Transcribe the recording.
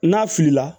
N'a filila